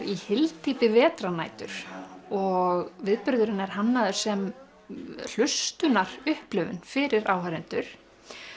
í hyldýpi vetrarnætur og viðburðurinn er hannaður sem fyrir áhorfendur